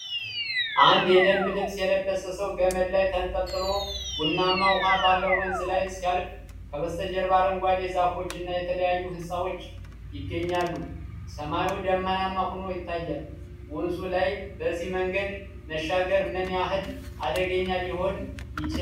አንድ የደንብ ልብስ የለበሰ ሰው ገመድ ላይ ተንጠልጥሎ ቡናማ ውኃ ባለው ወንዝ ላይ ሲያልፍ ከበስተጀርባ አረንጓዴ ዛፎች እና የተለያዩ ሕንፃዎች ይገኛሉ። ሰማዩ ደመናማ ሆኖ ይታያል። ወንዙ ላይ በዚህ መንገድ መሻገር ምን ያህል አደገኛ ሊሆን ይችላል?